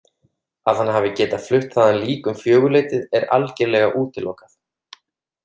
Að hann hafi getað flutt þaðan lík um fjögurleytið er algerlega útilokað.